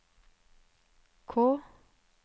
K